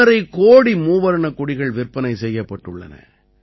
5 கோடி மூவர்ணக் கொடிகள் விற்பனை செய்யப்பட்டுள்ளன